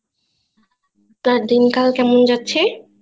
তা দিন কাল কেমন যাচ্ছে